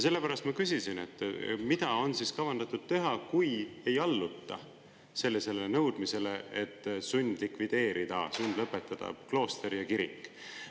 Sellepärast ma küsisin, mida on kavandatud teha, kui ei alluta nõudmisele sundlikvideerida, sundlõpetada klooster ja kirik.